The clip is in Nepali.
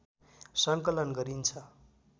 सङ्कलन गरिन्छ